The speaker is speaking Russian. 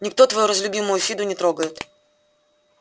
никто твою разлюбимую фиду не трогает